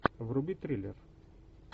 вруби триллер